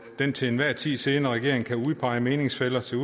den til enhver tid siddende regering kan udpege meningsfæller til